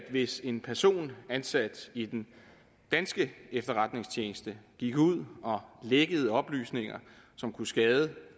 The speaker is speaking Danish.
hvis en person ansat i den danske efterretningstjeneste gik ud og lækkede oplysninger som kunne skade